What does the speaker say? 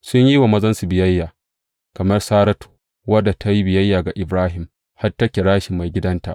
Sun yi wa mazansu biyayya, kamar Saratu, wadda ta yi biyayya ga Ibrahim, har ta kira shi maigidanta.